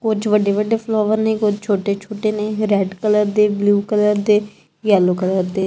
ਕੁੱਛ ਵੱਡੇ ਵੱਡੇ ਫਲੌਵਰ ਨੇਂ ਕੁਛ ਛੋਟੇ ਛੋਟੇ ਨੇਂ ਰੈੱਡ ਕਲਰ ਦੇ ਬਲੂ ਕਲਰ ਦੇ ਯੈੱਲੋ ਕਲਰ ਦੇ।